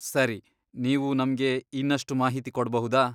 ಸರಿ, ನೀವು ನಮ್ಗೆ ಇನ್ನಷ್ಟು ಮಾಹಿತಿ ಕೊಡ್ಬಹುದಾ?